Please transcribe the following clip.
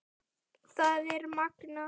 Það er magnað.